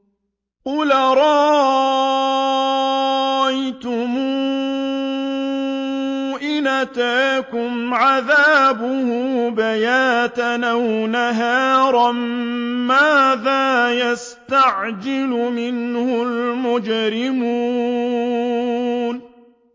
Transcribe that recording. قُلْ أَرَأَيْتُمْ إِنْ أَتَاكُمْ عَذَابُهُ بَيَاتًا أَوْ نَهَارًا مَّاذَا يَسْتَعْجِلُ مِنْهُ الْمُجْرِمُونَ